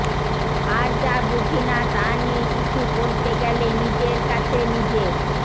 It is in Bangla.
আর যা বুঝি না তা নিয়ে কিছু বলতে গেলে নিজের কাছেই নিজে